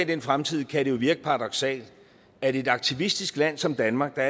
den fremtid kan det jo virke paradoksalt at et aktivistisk land som danmark der